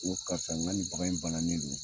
N ko karisa n ka ni bagan in bannen non